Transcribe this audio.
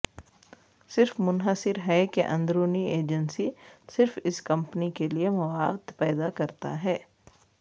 صرف منحصر ہے کہ اندرونی ایجنسی صرف اس کمپنی کے لئے مواد پیدا کرتا ہے